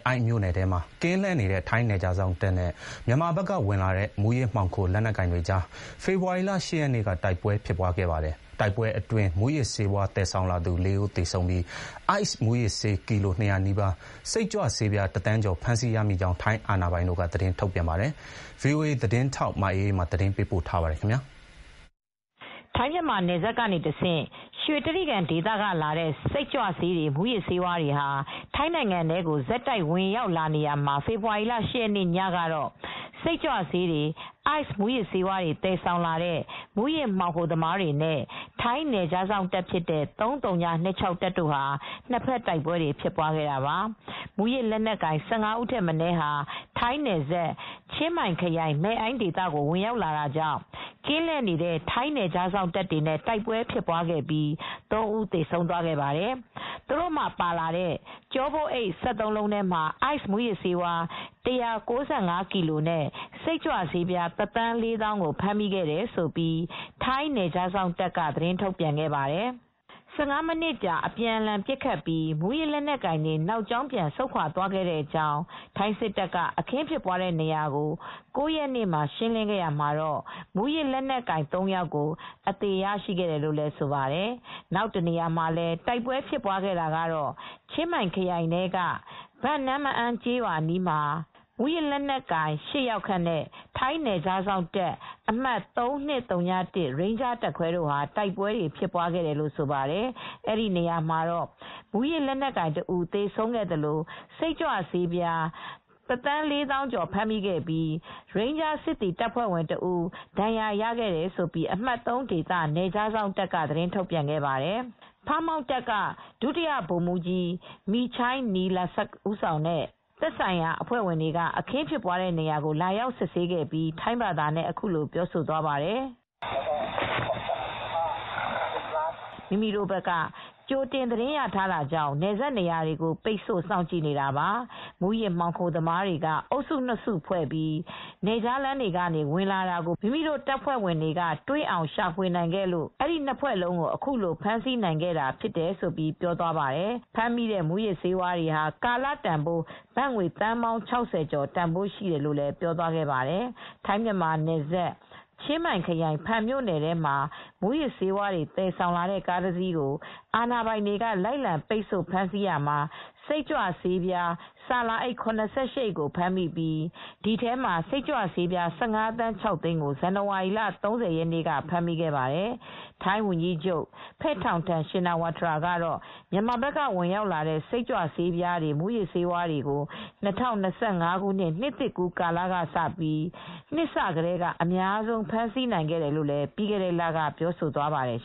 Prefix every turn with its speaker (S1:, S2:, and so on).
S1: အိုင့်မြိုနယ်ထဲမှာ ကင်းလှည့်နေတဲ့ ထိုင်း နယ်ခြားစောင့်တပ်နဲ့ မြန်မာဘက်ကဝင်လာတဲ့ မူးယစ်မှောင်ခို လက်နက်ကိုင်တွေကြား ဖေဖော်ဝါရီလ ၈ ရက်နေ့က တိုက်ပွဲဖြစ်ခဲ့ပါတယ်။ တိုက်ပွဲအတွင်း မူးယစ်ဆေးဝါး သယ်ဆောင်လာသူ ၄ ဦး သေဆုံးပြီး ICE မူးယစ်ဆေး ကီလို ၂၀၀ နီးပါး၊ စိတ်ကြွဆေးပြား ၁ သန်းကျော် ဖမ်းဆီးရမိကြောင်း ထိုင်းအာဏာပိုင်တို့က သတင်းထုတ်ပြန်ပါတယ်။ ဗွီအိုအေသတင်းထောက် မအေးအေးမာ သတင်းပေးပို့ထားပါတယ်။
S2: ထိုင်း-မြန်မာနယ်စပ်ကနေတဆင့် ရွှေတြိဂံဒေသကလာတဲ့ စိတ်ကြွဆေးတွေ မူးယစ်ဆေးတွေဟာ ထိုင်းနိုင်ငံထဲကို ဆက်တိုက်ဝင်ရောက်နေရာမှာ ဖေဖေါ်ဝါရီလ ၈ ရက်နေ့ညကတော့ စိတ်ကြွဆေးတွေ အိုက်စ်မူးယစ်ဆေးတွေ သယ်ဆောင်လာတဲ့ မူးယစ်မှောင်ခိုသမားတွေနဲ့ ထိုင်းနယ်ခြားစောင့်တပ်ဖြစ်တဲ့ ၃၀၂၆ တပ်တို့ နှစ်ဘက် တိုက်ပွဲဖြစ်ပွားခဲ့တာပါ။ မူးယစ်လက်နက်ကိုင် ၁၅ ဦးထက်မနည်းဟာ ထိုင်းနယ်စပ်၊ ချင်းမိုင်ခရိုင်၊ မဲ့အိုင်းဒေသကို ဝင်ရောက်လာတာကြောင့် ကင်းလှည့်နေတဲ့ ထိုင်းနယ်ခြားစောင့်တပ်တွေနဲ့ တိုက်ပွဲဖြစ်ပြီး ၃ ဦး သေဆုံးသွားခဲ့ပါတယ်။ သူတို့ပါလာတဲ့ ကျောပိုးအိတ် ၁၃ လုံးထဲမှာ Ice မူးယစ်ဆေး ၁၉၅ ကီလိုနဲ့ စိတ်ကြွဆေး ၁ သန်း ၄ သောင်းကို ဖမ်းမိခဲ့တယ်လို့ ထိုင်းနယ်ခြားစောင့်တပ်က သတင်းထုတ်ပြန်ခဲ့ပါတယ် ။ ၁၅ မိနစ်ကြာ အပြန်အလှန် ပစ်ခတ်ပြီး မူးယစ်လက်နက်ကိုင်တွေ နောက်ကြောင်း ပြန်ဆုတ်ခွာသွား ခဲ့ကြောင်း၊ ထိုင်းစစ်တပ်က အခင်းဖြစ်တဲ့နေရာကို ၉ ရက်နေ့မှာ ရှင်းလင်းခဲ့ရာမှာတော့ မူးယစ်လက်နက်ကိုင် ၃ ယောက်ကို အသေရရှိတယ်လို့ဆိုပါတယ်။ နောက်တနေရာမှာလည်း တိုက်ပွဲဖြစ်ပွားခဲ့တာကတော့ ချင်းမိုင်ခရိုင်ထဲက ဘန်နမ့်မအန်းကျေးရွာ အနီးက တောင်တန်းမှာ မူးယစ်လက်နက်ကိုင် (၈) ယောက်ခန့်နဲ့ ထိုင်းနယ်ခြားစောင့်အမှတ် ၃၂၀၁ ရိန်းဂျားတပ်ခွဲတို့ တိုက်ပွဲဖြစ်ပွားခဲ့ တယ်လို့ ဆိုပါတယ် အဲဒီနေရာမှာတော့ မူးယစ်လက်နက်ကိုင် တဦး သေဆုံးခဲ့သလို စိတ်ကြွဆေးပြား ၁ သန်းကျော် (၁,၀၀၄,၀၀၀) ဖမ်းမိခဲ့ပြီး ရိန်းဂျားစစ်သည် တပ်ဖွဲ့ဝင်တဦး ဒဏ်ရာရခဲ့တယ်လို့ အမှတ် ၃ နယ်ခြားစောင့်တပ်က သတင်းထုတ်ပြန်ခဲ့ပါတယ်။ Pha Muang Task Force က ဒု-ဗိုလ်မှူးကြီး Meechai Nilasat မီချိုုင်း နီလဆပ် ဦးဆောင်တဲ့ သက်ဆိုင်ရာအဖွဲ့ဝင်တွေ အခင်းဖြစ်တဲ့နေရာကို လာရောက်စစ်ဆေးခဲ့ပြီး ထိုင်းဘာသာနဲ့ အခုလိုပြောသွားပါတယ်
S1: ။ "
S2: မိမိတို့ဘက်က ကြိုတင်သတင်းရထားတာကြောင့် နယ်စပ်နေရာတွေကို ပိတ်ဆို့ စောင့်ကြည့်နေ တာပါ၊ မူးယစ်မှောင်ခိုသမားတွေက အုပ်စုနှစ်စုဖွဲပြီး နယ်ခြားလမ်းတွေက ဝင်လာခဲ့တာကို မိမိတို့ တပ်ဖွဲ့ဝင်တွေက တွေ့အောင် ရှာဖွေနိုင်ခဲ့လို့ နှစ်ဖွဲ့လုံးကို အခုလို ဖမ်းဆီးနိုင်ခဲ့တာ" လို့ ပြောသွားပါတယ်။ ဖမ်းမိတဲ့မူးယစ်ဆေးတွေဟာ ကာလတန်ဘိုး ဘတ်ငွေ သန်းပေါင်း ၆၀ ကျော်ရှိတယ်လို့ လည်း ပြောသွားခဲ့ပါတယ်။ ထိုင်း-မြန်မာနယ်စပ်၊ ချင်းမိုင်ခရိုင်၊ ဖန်မြို့နယ်ထဲမှာ မူးယစ်ဆေးဝါးတွေ သယ်ဆောင်လာတဲ့ ကားတစီးကို အာဏာပိုင်တွေက လိုက်လံ ပိတ်ဆို့ ဖမ်းဆီးရာမှာ စိတ်ကြွဆေးပြား ဆာလာအိပ် ၇၈ အိတ်ကိုဖမ်းမိပြီး ဒီထဲမှ ာစစ်ကြွဆေးပြား ၁၅ သန်း ၆ သိန်းကို ဇန်နဝါရီလ ၃၀ ရက်နေ့ကလည်း ဖမ်းမိခဲ့ပါသေးတယ်။ ထိုင်းဝန်ကြီးချုပ် Paetongtarn Shinawatra ကတော့ မြန်မာဘက်က ဝင်ရောက်လာတဲ့ စိတ်ကြွ ဆေးပြားတွေ၊ မူးယစ်ဆေးဝါးတွေကို ၂၀၂၅ နစ်သစ်ကူးကာလကစပြီး နှစ်စကတည်းက အများဆုံး ဖမ်းဆီးနိုင်ခဲ့တယ်လို့လည်း ပြီးခဲ့တဲ့လက ပြောဆိုသွားပါတယ်